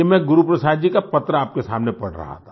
ये मैं गुरुप्रसाद जी का पत्र आप के सामने पढ़ रहा था